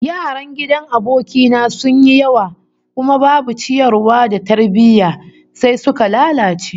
Yaran gidan aboki na sun yi yawa kuma babu ciyarwa da tarbiyya, sai suka lalace